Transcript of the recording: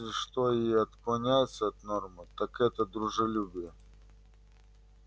если что и отклоняется от нормы так это дружелюбие